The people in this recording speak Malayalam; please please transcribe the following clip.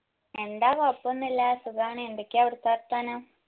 എന്താ കോയപ്പൊന്നുല്ല സുഖാണ് എന്തൊക്ക്യാ അവിടിത്തെ വർത്താനം